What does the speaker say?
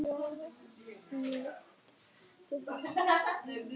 Þekkið þið hollustumerkið Skráargatið?